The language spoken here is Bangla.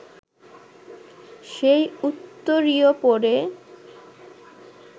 সেই উত্তরীয় পরে